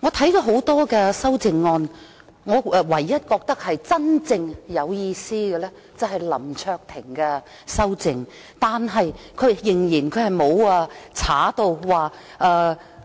我看了多項修正案，唯一覺得真正有意思的是林卓廷議員的修正案，但他仍然沒有刪除"加快增